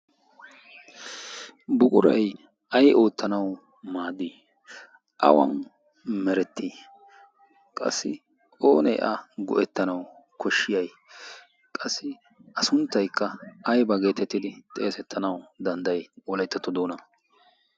Buquray ay oottanawu maaddi awan merettii qassi oonee a go'ettanau koshshiyay qassi a sunttaykka aybaa geetettidi xeesettanawu dandday wolayttato doona?